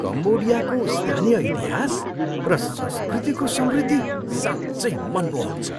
कम्बोडियाको स्थानीय इतिहास र संस्कृतिको समृद्धि साँच्चै मनमोहक छ।